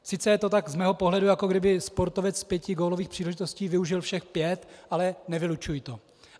Sice je to tak z mého pohledu, jako kdyby sportovec z pěti gólových příležitostí využil všech pět, ale nevylučuji to.